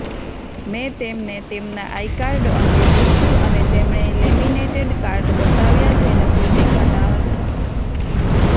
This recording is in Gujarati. મેં તેમને તેમના આઈકાર્ડ અંગે પૂછ્યું અને તેમણે લેમિનેટેડ કાર્ડ બતાવ્યાં જે નકલી દેખાતા હતાં